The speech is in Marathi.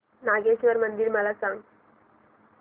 नागेश्वर मंदिर मला सांग